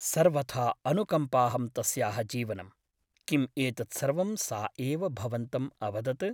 सर्वथा अनुकम्पाहं तस्याः जीवनम् । किम् एतत्सर्वं सा एव भवन्तम् अवदत् ?